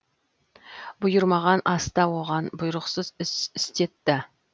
бұйырмаған аста оған бұйрықсыз іс істетті